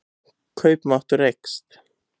Kaupmáttur eykst